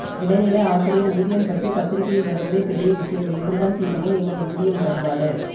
இடைநிலை ஆசிரியர் ஊதியம் பற்றி பத்திரிக்யில் வருவதே பெரிய விடியம் என்று தான் தீருமோ எங்கள் ஊதிய முரண்பாடு